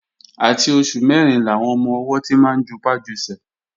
Àti oṣù mẹ́rin làwọn ọmọ-ọwọ́ ti máa ń jupá jusẹ̀